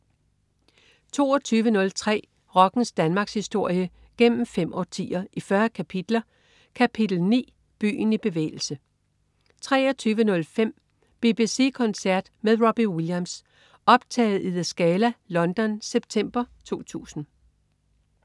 22.03 Rockens Danmarkshistorie, gennem fem årtier, i 40 kapitler. Kapitel 9: Byen i bevægelse 23.05 BBC koncert med Robbie Williams. Optaget i The Scala, London, september 2000